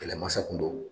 Kɛlɛmasa kun don